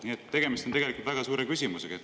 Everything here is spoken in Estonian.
Nii et tegemist on tegelikult väga suure küsimusega, et …